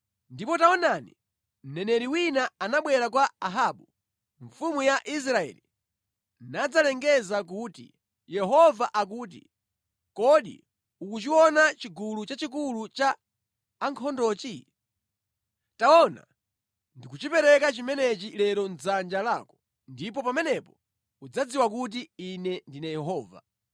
Ndipo taonani, mneneri wina anabwera kwa Ahabu mfumu ya Israeli nadzalengeza kuti, “Yehova akuti, ‘Kodi ukuchiona chigulu chachikulu cha ankhondochi? Taona, ndikuchipereka chimenechi lero mʼdzanja lako, ndipo pamenepo udzadziwa kuti Ine ndine Yehova.’ ”